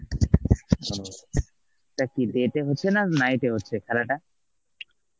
তা কি day তে হচ্ছে না night এ হচ্ছে খেলাটা?